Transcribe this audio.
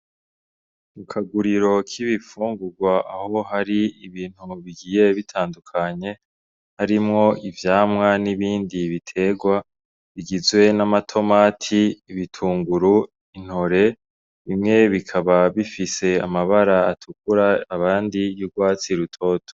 Ukaguriro k'ibipfungurwa aho hari ibintu bigiye bitandukanye harimwo ivyamwa n'ibindi biterwa bigizwe n'amatomati ibitunguru intore bimwe bikaba bifise amabara atukura abandi yurwatsi rutoto.